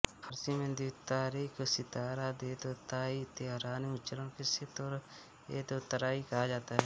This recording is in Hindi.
फ़ारसी में द्वितारे को सिताराएदोताई तेहरानी उच्चारण सेतोरेएदोतौई कहा जाता है